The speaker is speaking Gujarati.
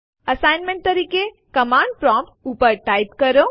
આપણી પાસે આપણી હોમ ડિરેક્ટરીમાં બે ફાઈલો છે જેના નામ છે સેમ્પલ1 અને સેમ્પલ2